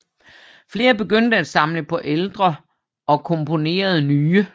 Flere begyndte at samle på ældre og komponere nye